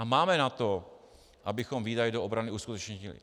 A máme na to, abychom výdaje do obrany uskutečnili.